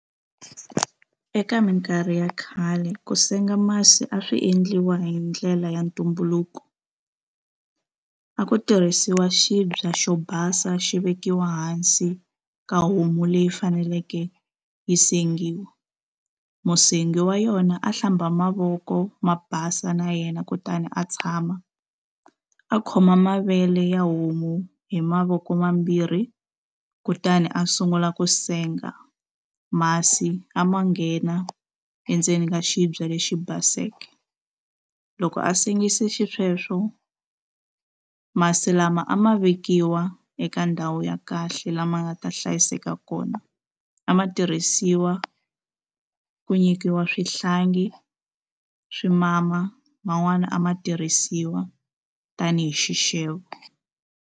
Eka minkarhi ya khale ku senga masi a swi endliwa hi ndlela ya ntumbuluko a ku tirhisiwa xibye xo basa xi vekiwa hansi ka homu leyi faneleke yi sengiwa musengi wa yona a hlamba mavoko ma basa na yena kutani a tshama a khoma mavele ya homu hi mavoko mambirhi kutani a sungula ku senga masi a ma nghena endzeni ka xibye lexi baseke loko a sengise xisweswo masi lama a ma vekiwa eka ka ndhawu ya kahle lama nga ta hlayiseka kona a ma tirhisiwa ku nyikiwa swihlangi swi mama man'wani a ma tirhisiwa tanihi xixevo.